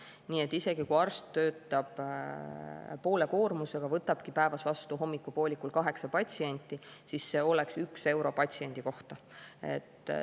Nii et isegi kui arst töötab poole koormusega, võtabki päevas vastu hommikupoolikul kaheksa patsienti, siis see oleks 1 euro patsiendi kohta.